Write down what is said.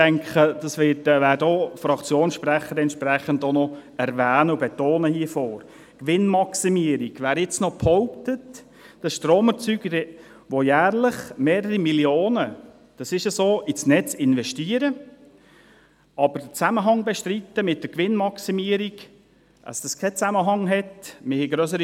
ich denke, das werden Fraktionssprecher hier vorne auch noch entsprechend erwähnen und betonen, nämlich die Gewinnmaximierung: Wer jetzt noch behauptet, dass Stromerzeuger, die jährlich mehrere Millionen – das ist so – ins Netz investieren, aber den Zusammenhang mit der Gewinnmaximierung bestreiten, also, dass es keinen Zusammenhang habe ...